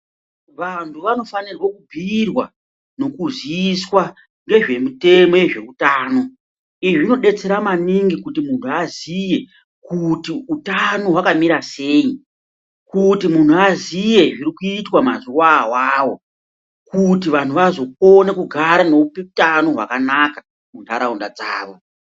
Vantu vanofanirwa kubhiirwa nekuziiswa ngezvemutemo yezveutano izvi zvinodetsera maningi kuti muntu aziye kuti utano hwakamira sei kuti muntu aziye zvikuitwa mazuwa awawo kuti vantu vazokone kugara nekupeutano hwakanaka mundaraunda dzavo.